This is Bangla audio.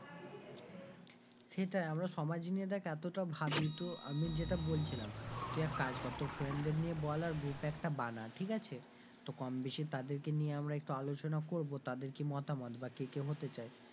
সেটাই, আমরা সমাজ নিয়ে দেখ এতটা ভাবি তো আমি যেটা বলছিলাম তুই এক কাজ কর তোর friend দের নিয়ে বলে আর group একটা বানা ঠিক আছে তো কমবেশী তাদের কে নিয়ে আমরা একটু আলোচনা করবো তাদের কি মতামত বা কে কে হতে চায়,